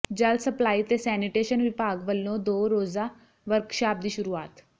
ਜਲ ਸਪਲਾਈ ਤੇ ਸੈਨੀਟੇਸ਼ਨ ਵਿਭਾਗ ਵਲੋਂ ਦੋ ਰੋਜ਼ਾ ਵਰਕਸ਼ਾਪ ਦੀ ਸ਼ੁਰੂਆਤ